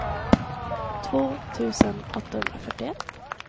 två tusen åttahundrafyrtioett